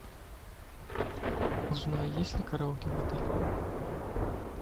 узнай есть ли караоке в отеле